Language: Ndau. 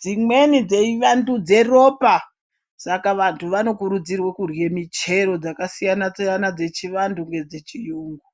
dzimweni dzeivandudza ropa ska vantu vanokurudzirwa kurye michero dzakasiyana siyana dzechivantu nedzechiyungu